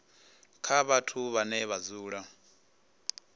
kha vhathu vhane vha dzula